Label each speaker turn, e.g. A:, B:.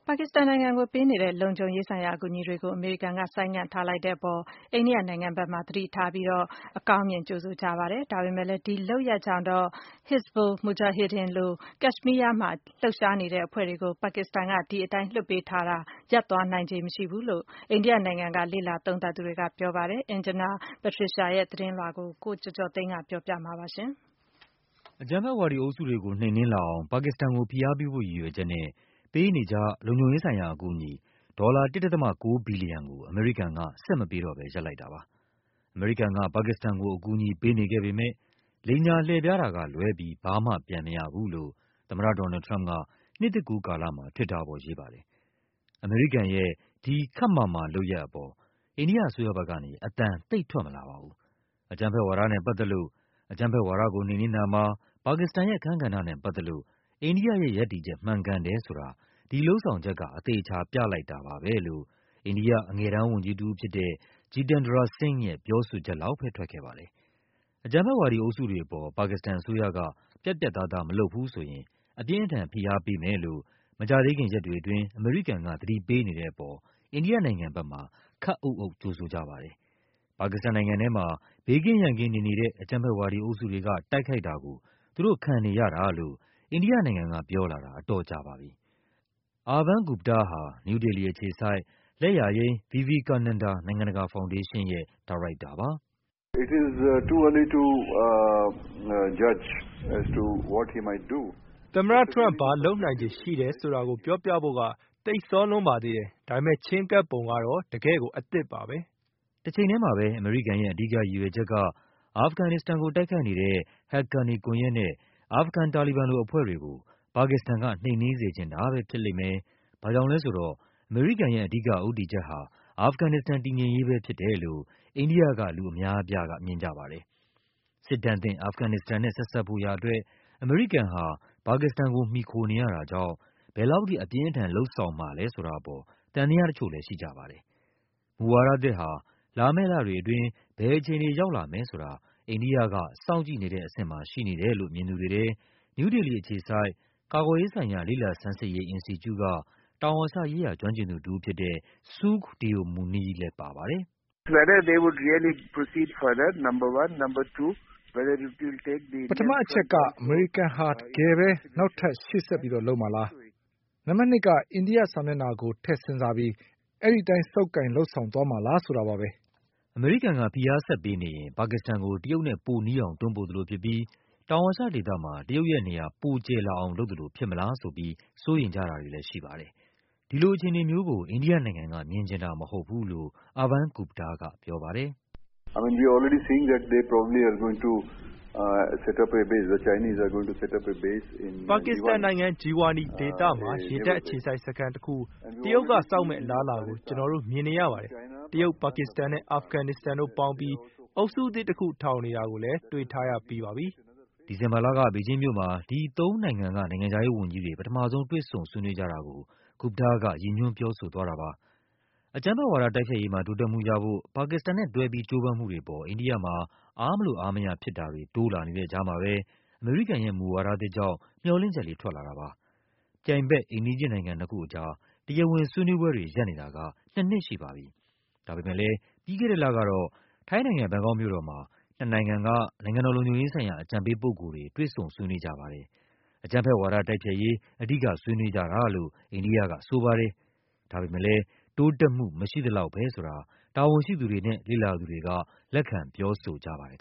A: ါကစ္စတန်နိုင်ငံကိုပေးနေတဲ့ လုံခြုံရေးဆိုင်ရာ အကူအညီတွေကို အမေရိကန်က ဆိုင်းငံ့ထားလိုက်တဲ့အပေါ် အိန္ဒိယနိုင်ငံဘက်မှာ သတိထားပြီး အကောင်းမြင်ကြိုဆိုကြပါတယ်။ ဒါပေမဲ့လဲ ဒီလုပ်ရပ်ကြောင့်တော့ Hizbul Mujahideen လို ကက်ရှ်မီးယားမှာ လှုပ်ရှားနေတဲ့အဖွဲ့တွေကို ပါကစ္စတန်က ဒီတိုင်းလွှတ်ပေးထားတာ ရပ်သွားနိုင်ခြေ မရှိဘူးလို့ အိန္ဒိယနိုင်ငံက လေ့လာသုံးသပ်သူတွေက ပြောပါတယ်။ Anjana Pasricha ရဲ့သတင်းလွှာကို ကိုကျော်ကျော်သိန်းက ပြောပြပါမယ်
B: ။ အကြမ်းဖက်ဝါဒီအုပ်စုတွေကို နှိမ်နင်းလာအောင် ပါကစ္စတန်ကို ဖိအားပေးဖို့ ရည်ရွယ်ချက်နဲ့ ပေးနေကျ လုံခြုံရေးဆိုင်ရာ အကူအညီ ဒေါ်လာ ၁.၉ ဘီလီယံကို အမေရိကန်က ဆက်မပေးတော့ဘဲ ရပ်လိုက်တာပါ။ အမေရိကန်က ပါကစ္စတန်ကို အကူ အညီပေးနေခဲ့ပေမဲ့ လိမ်ညာလှည့်ဖျားတာကလွဲပြီး ဘာမှပြန်မရဘူးလို့ သမ္မတ ဒေါ်နယ်လ်ဒ် ထရမ့်ပ်က နှစ်သစ်ကူးကာလမှာ Twitter ပေါ်ရေးပါတယ်။ အမေရိကန်ရဲ့ ဒီ ခပ်မာမာလုပ်ရပ်အပေါ် အိန္ဒိယအစိုးရဘက်ကနေ အသံသိပ်ထွက်မလာပါဘူး။ အကြမ်းဖက်ဝါဒနဲ့ပတ်သက်လို့၊ အကြမ်းဖက်ဝါဒကို နှိမ်နင်းတာမှာ ပါကစ္စတန်ရဲ့အခန်းကဏ္ဍနဲ့ ပတ်သက်လို့ အိန္ဒိယရဲ့ရပ်တည်ချက် မှန်ကန်တယ်ဆိုတာ ဒီ လုပ်ဆောင်ချက်က အသေအချာပြလိုက်တာပါပဲလို့ အိန္ဒိယအငယ်တန်းဝန်ကြီးတဦးဖြစ်တဲ့ Jitendra Singh ရဲ့ ပြောဆိုချက် လောက်ပဲ ထွက်ခဲ့ပါတယ်။ အကြမ်းဖက်ဝါဒီအုပ်စုတွေအပေါ် ပါကစ္စတန်အစိုးရက ပြတ်ပြတ်သားသား မလုပ်ဘူးဆိုရင် အပြင်းအထန် ဖိအားပေးမယ်လို့ မကြာသေးခင်ရက်တွေအတွင်း အမေရိကန်က သတိပေးနေတဲ့အပေါ် အိန္ဒိယနိုင်ငံဘက်မှာ ခပ်အုပ်အုပ် ကြိုဆိုကြပါတယ်။ ပါကစ္စတန်နိုင်ငံထဲမှာ ဘေးကင်းရန်ကင်းနေနေတဲ့ အကြမ်းဖက်ဝါဒီအုပ်စုတွေက တိုက်ခိုက်တာကို သူတို့ခံနေရတာလို့ အိန္ဒိယ နိုင်ငံကပြောလာတာ အတော်ကြာပါပြီ။ Arvind Gupta ဟာ နယူးဒေလီအခြေစိုက် လက်ယာယိမ်း Vivekananda နိုင်ငံတကာဖောင်ဒေးရှင်းရဲ့ ညွှန်ကြားရေးမှူးပါ
A: “သမ္မတထရမ့်ပ် ဘာလုပ်နိုင်ခြေရှိတယ်ဆိုတာကို ပြောဖို့က သိပ်စောလွန်းပါသေးတယ်။ ဒါပေမဲ့ ချဉ်းကပ်ပုံက တော့ တကယ့်ကို အသစ်ပါပဲ။
B: ” တချိန်ထဲမှာပဲ အမေရိကန်ရဲ့ အဓိကရည်ရွယ်ချက်က အာဖဂန်နစ္စတန်ကို တိုက်ခိုက်နေတဲ့ ဟက်ကာနီကွန်ယက်နဲ့ အာဖဂန် တာလီဘန်လိုအဖွဲ့တွေကို ပါကစ္စတန်က နှိမ်နင်းစေချင်တာပဲ ဖြစ်လိမ့်မယ်၊ ဘာ့ကြောင့်လဲဆိုတော့ အမေရိကန်ရဲ့ အဓိက ဦးတည်ချက်ဟာ အာဖဂန်နစ္စတန် တည်ငြိမ်ရေးပဲဖြစ်တယ်လို့ အိန္ဒိယက လူအများအပြားမြင်ကြပါတယ်။ စစ်ဒဏ်သင့် အာဖဂန် နစ္စတန်နဲ့ ဆက်စပ်ဖို့ရာအတွက် အမေရိကန်ဟာ ပါကစ္စတန်ကို မှီခိုနေရတာကြောင့် ဘယ်လောက်ထိ အပြင်းအထန် လုပ်ဆောင် မှာလဲဆိုတာအပေါ် သံသယတချို့လဲရှိကြပါတယ်။ မူဝါဒသစ်ဟာ လာမယ့်လတွေအတွင်း ဘယ်အခြေအနေ ရောက်လာမယ်ဆိုတာ အိန္ဒိယက စောင့်ကြည့်နေတဲ့အဆင့်မှာ ရှိနေ တယ်လို့ မြင်သူတွေထဲ နယူးဒေလီအခြေစိုက် ကာကွယ်ရေးဆိုင်ရာ လေ့လာဆန်းစစ်ရေး အင်စတီကျူက တောင်အာရှရေးရာ ကျွမ်းကျင်သူတဦးဖြစ်တဲ့ Sukh Deo Muni ကပြောပါတယ်။
A: “ပထမအချက်က အမေရိကန်ဟာ တကယ်ပဲ နောက်ထပ် ရှေ့ဆက်လုပ်မှာလား၊ နံပါတ်နှစ်က အိန္ဒိယ မျက်နှာစာကို ထည့်စဉ်းစားပြီး အဲဒီအတိုင်း ဆုပ်ကိုင် လုပ်ဆောင်သွားမှာလား ဆိုတာပါပဲ။
B: ” အမေရိကန်က ဖိအားဆက်ပေးနေရင် ပါကစ္စတန်ကို တရုတ်နဲ့ ပိုနီးအောင် တွန်းပို့သလိုဖြစ်ပြီး တောင်အာရှဒေသမှာ တရုတ်ရဲ့ နေရာ ပိုကျယ်လာအောင်လုပ်သလို ဖြစ်မလားဆိုပြီး စိုးရိမ်ကြတာတွေလဲရှိပါတယ်။ ဒီလိုအခြေအနေကိုတော့ အိန္ဒိယနိုင်ငံက မြင်ချင်တာမဟုတ်ဘူးလို့ Arvind Gupta ကပြောပါတယ်။ “
A: ပါကစ္စတန်နိုင်ငံ၊ Jiwani ဒေသမှာ ရေတပ်အခြေစိုက်စခန်းတခု တရုတ်က ဆောက်လာမယ့်အလားအလာကို ကျနော် တို့မြင်နေရပါတယ်။ တရုတ်၊ ပါကစ္စတန်နဲ့ အာဖဂန်နစ္စတန်တို့ပေါင်းပြီး အုပ်စုသစ်တခု ထောင်နေတာကိုလဲ တွေ့ထားရပြီးပါပြီ။
B: ” ဒီဇင်ဘာလက ဘေဂျင်းမြို့မှာ ဒီသုံးနိုင်ငံက နိုင်ငံခြားရေးဝန်ကြီးတွေ ပထမဆုံး တွေ့ဆုံ ဆွေးနွေးကြတာကို Gupta က ရည်ညွှန်း ပြောဆိုသွားတာပါ။ အကြမ်းဖက်ဝါဒ တိုက်ဖျက်ရေးမှာ တိုးတက်မှုရဖို့ ပါကစ္စတန်နဲ့တွဲပြီး ကြိုးပမ်းမှုတွေအပေါ် အိန္ဒိယမှာ အားမလိုအားမရဖြစ်တာ တွေတိုးလာနေတဲ့ကြားမှာပဲ အမေရိကန်ရဲ့မူဝါဒသစ်ကြောင့် မျှော်လင့်ချက်လေး ထွက်လာပါတယ်။ ပြိုင်ဘက် အိမ်နီးချင်းနိုင်ငံ နှစ်ခုအကြား တရားဝင်ဆွေးနွေးပွဲတွေ ရပ်နေတာက နှစ်နှစ်ရှိပါပြီ။ ဒါပေမဲ့လဲ ပြီးခဲ့တဲ့လကတော့ ထိုင်းနိုင်ငံ၊ ဘန်ကောက်မြို့ တော်မှာ နှစ်နိုင်ငံက နိုင်ငံတော်လုံခြုံရေးဆိုင်ရာ အကြံပေးပုဂ္ဂိုလ်တွေ တွေ့ဆုံဆွေးနွေးပါတယ်။ အကြမ်းဖက်ဝါဒ တိုက်ဖျက်ရေး အဓိကဆွေးနွေးကြတာလို့ အိန္ဒိယကဆိုပါတယ်။ ဒါပေမဲ့လဲ တိုးတက်မှု မရှိသလောက်ပဲဆိုတာ တာဝန်ရှိသူတွေနဲ့ လေ့လာသူတွေက လက်ခံ ပြောဆိုကြပါတယ်